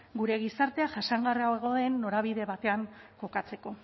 gure gizartea jasangarriagoa den norabide batean kokatzeko